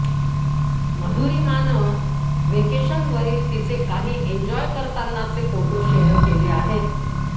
मधुरीमानं व्हॅकेशनवरील तिचे काही एन्जॉय करतानाचे फोटो शेअर केले आहेत